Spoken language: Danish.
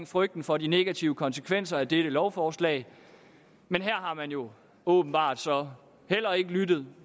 frygten for de negative konsekvenser af dette lovforslag men her har man jo åbenbart så heller ikke lyttet